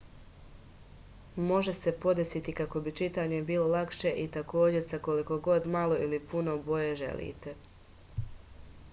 može se podesiti kako bi čitanje bilo lakše i takođe sa koliko god malo ili puno boje želite